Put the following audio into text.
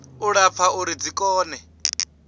u lapfa uri dzi kone